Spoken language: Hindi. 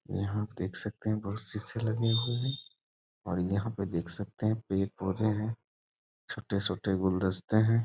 यहाँ आप देख सकते है बहुत शीशे लगे हुए हैं और यहाँ पे देख सकते है पेड़-पौधे है छोटे-छोटे गुलदस्ते हैं।